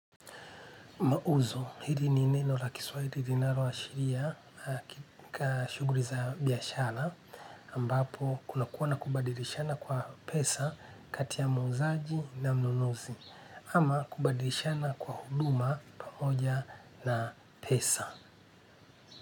Uzo, hili ni neno la kiswahili linalo ashiria kika shughuli za biashara ambapo kuna kuwa na kubadilishana kwa pesa kati muuzaji na mnunuzi ama kubadilishana kwa huduma pamoja na pesa.